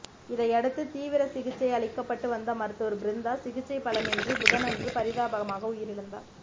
இதையடுத்து தீவிர சிகிச்சை அளிக்கப்பட்டு வந்த மருத்துவர் பிருந்தா சிகிச்சை பலனின்றி புதனன்று பரிதாபமாக உயிரிழந்தார்